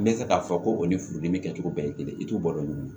N bɛ fɛ k'a fɔ ko o ni furudimi kɛcogo bɛɛ ye kelen ye i t'u balo ɲu